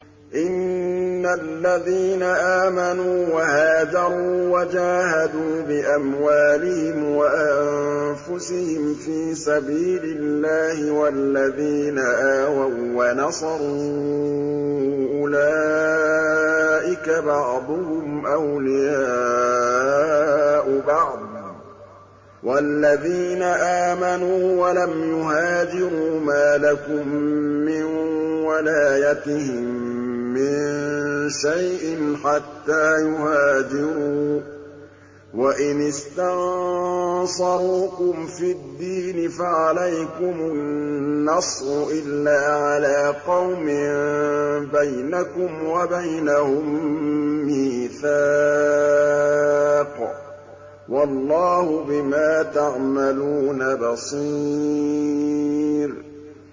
إِنَّ الَّذِينَ آمَنُوا وَهَاجَرُوا وَجَاهَدُوا بِأَمْوَالِهِمْ وَأَنفُسِهِمْ فِي سَبِيلِ اللَّهِ وَالَّذِينَ آوَوا وَّنَصَرُوا أُولَٰئِكَ بَعْضُهُمْ أَوْلِيَاءُ بَعْضٍ ۚ وَالَّذِينَ آمَنُوا وَلَمْ يُهَاجِرُوا مَا لَكُم مِّن وَلَايَتِهِم مِّن شَيْءٍ حَتَّىٰ يُهَاجِرُوا ۚ وَإِنِ اسْتَنصَرُوكُمْ فِي الدِّينِ فَعَلَيْكُمُ النَّصْرُ إِلَّا عَلَىٰ قَوْمٍ بَيْنَكُمْ وَبَيْنَهُم مِّيثَاقٌ ۗ وَاللَّهُ بِمَا تَعْمَلُونَ بَصِيرٌ